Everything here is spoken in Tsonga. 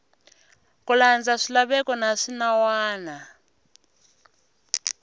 ku landza swilaveko na swinawana